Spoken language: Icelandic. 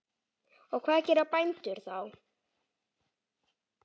Og hvað gera bændur þá?